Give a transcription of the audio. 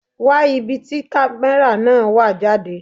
Wá ibi tí camera náà wà jáde.